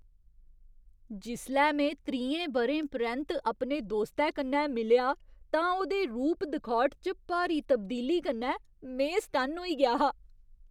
जिसलै में त्रीहें ब'रें परैंत्त अपने दोस्तै कन्नै मिलेआ तां उ'दे रूप दखौट च भारी तब्दीली कन्नै में सटन्न होई गेआ हा।